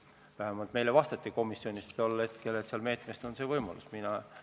Vähemalt tol hetkel meile komisjonis vastati, et selle meetme puhul on see võimalus olemas.